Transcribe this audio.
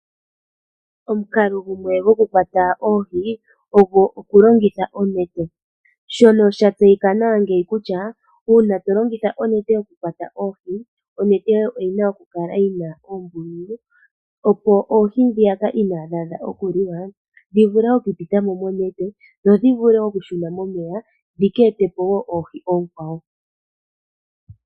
Omukalo gumwe gokukwata oohi ogo okulongitha onete, shono shatseyika nawa ngeyi kutya uuna tolongitha onete okukwata oohi, onete yoye oyina okukala yina oombululu opo oohi dhoka inaadhi adha okuliwa dhivule okupitamo monete dho dhishune momeya dhikeete po oohi oonkwawo.